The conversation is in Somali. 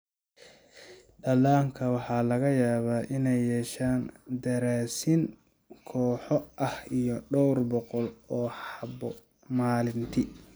Dhallaanka waxaa laga yaabaa inay yeeshaan daraasiin kooxo ah iyo dhowr boqol oo xabo maalintii.